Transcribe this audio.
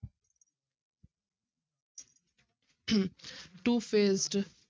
two faced